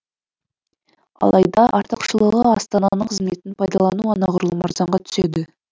алайда артықшылығы астананың қызметін пайдалану анағұрлым арзанға түседі